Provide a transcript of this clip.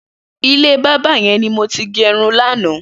Ilé bàbà yẹn ni mó ti gẹrún làná